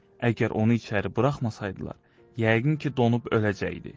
Əgər onu içəri buraxmasaydılar, yəqin ki, donub öləcəkdi.